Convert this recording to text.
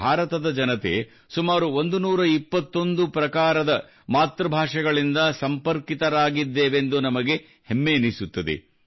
ಭಾರತದ ಜನತೆ ಸುಮಾರು 121 ಪ್ರಕಾರದ ಮಾತೃ ಭಾಷೆಗಳಿಂದ ಸಂಪರ್ಕಿತರಾಗಿದ್ದೇವೆಂದು ನಮಗೆ ಹೆಮ್ಮೆಯೆನಿಸುತ್ತದೆ